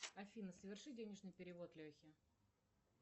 афина соверши денежный перевод лехе